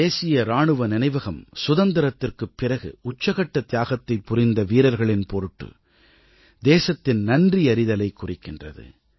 தேசிய இராணுவ நினைவகம் சுதந்திரத்திற்குப் பிறகு உச்சகட்ட தியாகத்தைப் புரிந்த வீரர்களின் பொருட்டு தேசத்தின் நன்றியறிதலைக் குறிக்கின்றது